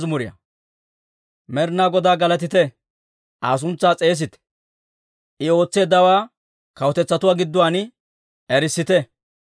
Med'inaa Godaa galatite; Aa suntsaa s'eesite. I ootseeddawaa kawutetsatuu gidduwaan erissite.